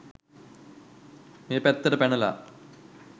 මේ පැත්තට පැනලා